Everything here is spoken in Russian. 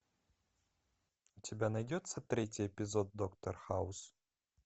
у тебя найдется третий эпизод доктор хаус